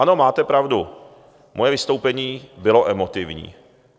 Ano, máte pravdu, moje vystoupení bylo emotivní.